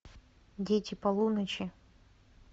дети полуночи